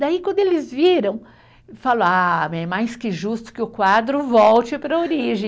Daí, quando eles viram, falaram, ah, é mais que justo que o quadro volte para a origem.